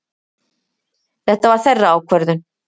Þetta var þeirra ákvörðun.